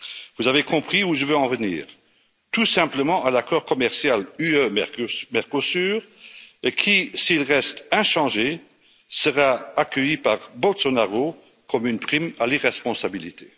Vous avez compris où je veux en venir tout simplement à l'accord commercial UE Mercosur qui, s'il reste inchangé, sera accueilli par Bolsonaro comme une prime à l'irresponsabilité.